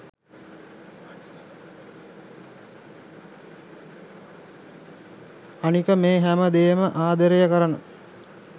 අනික මේ හැම දේම ආදරය කරන